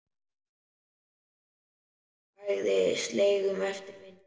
Hagaði seglum eftir vindi.